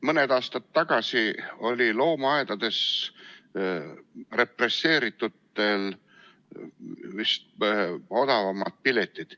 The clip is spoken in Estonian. Mõni aasta tagasi olid represseeritutele loomaaedades odavamad piletid.